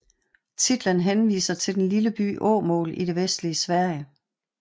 Titlen henviser til den lille by Åmål i det vestlige Sverige